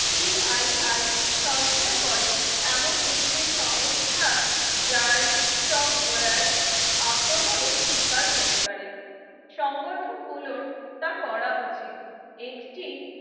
CII সঞ্চয় করে এমন একটি সংস্থা যার software আক্রমণের শিকার হতে পারে সংগঠনগুলো তা করা উচিত একটি